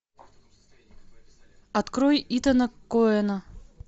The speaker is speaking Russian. открой итана коэна